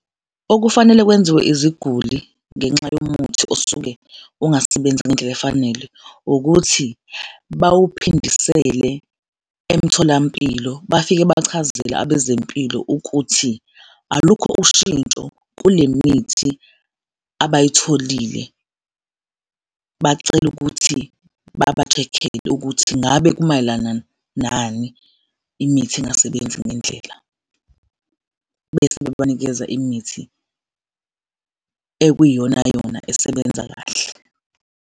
Okufanele kwenziwe iziguli ngenxa yomuthi osuke ungasebenzi ngendlela efanele ukuthi bawuphindisele emtholampilo, bafike bachazele abezempilo ukuthi alukho ushintsho kule mithi abayithole, bacele ukuthi baba-check-ele ukuthi ngabe kumayelana nani imithi ingasebenzi ngendlela bese bebanikeza imithi ekuyiyona yona, esebenza kahle.